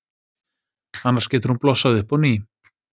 Annars getur hún blossað upp á ný.